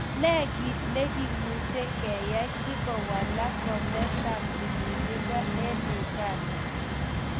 Ne nekimunche keiyai sikuwalak komatab tililindo en uganda